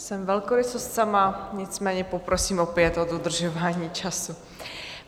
Jsem velkorysost sama, nicméně poprosím opět o dodržování času.